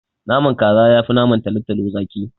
Naman kaza yafi naman talotalo zaki.